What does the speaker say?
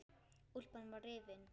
Úlpan var rifin.